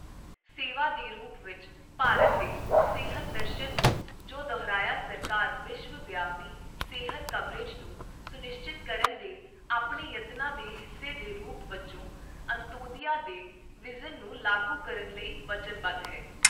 ਸੇਵਾ ਦੇ ਰੂਪ ਵਿੱਚ ਭਾਰਤ ਦੇ ਸਿਹਤ ਦਰਸ਼ਨ ਨੂੰ ਜੋਂ ਦੁਹਰਾਇਆ ਸਰਕਾਰ ਵਿਸ਼ਵਵਿਆਪੀ ਸਿਹਤ ਕਵਰੇਜ ਨੂੰ ਸੁਨਿਸ਼ਚਿਤ ਕਰਨ ਦੇ ਆਪਣੇ ਯਤਨਾਂ ਦੇ ਹਿੱਸੇ ਦੇ ਰੂਪ ਵਜੋਂ ਅੰਤੋਦਿਆ ਦੇ ਵਿਜ਼ਨ ਨੂੰ ਲਾਗੂ ਕਰਨ ਲਈ ਵਚਨਬੱਧ ਹੈ।